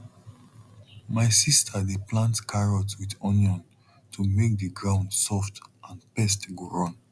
my sis dey plant carrot with onion to make the ground soft and pest go run